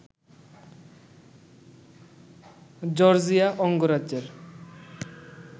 Georgia অঙ্গরাজ্যের